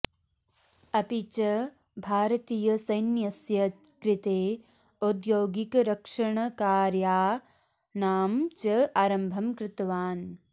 अपि च भारतीयसैन्यस्य कृते औद्योगिकरक्षणकार्याणां च आरम्भं कृतवान्